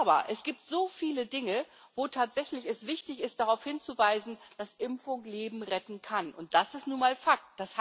Aber es gibt so viele Dinge, wo es tatsächlich wichtig ist, darauf hinzuweisen, dass Impfung Leben retten kann, und das ist nun mal Fakt.